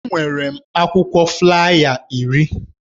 Enwere m akwụkwọ flaya iri.